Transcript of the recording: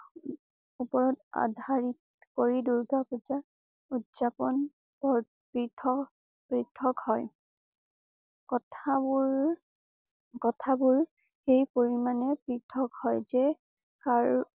উপৰত আধাৰিত কৰি দুৰ্গা পূজা উদযাপন পৃথকপৃথক হয়। কথাবোৰকথাবোৰ সেই পৰিমাণে পৃথক হয় যে